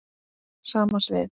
Sama svið.